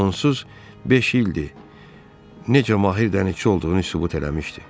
Onsuz beş ildir necə Mahir dənizçi olduğunu sübut eləmişdi.